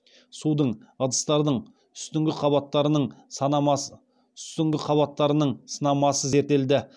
судың ыдыстардың үстіңгі қабаттарының сынамасы зерттелді